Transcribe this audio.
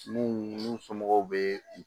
Minnu n'u somɔgɔw be